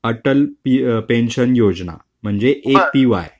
Atal pension योजना. म्हणजे A P Y.